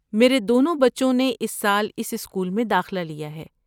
میرے دونوں بچوں نے اس سال اس اسکول میں داخلہ لیا ہے۔